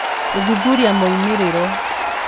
Gũthuthuria Moimĩrĩro